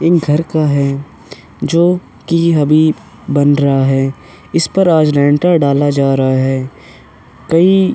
इं घर का है जोकि हबीब बन रहा है। इस पर आज रेंटर डाला जा रहा है। कई --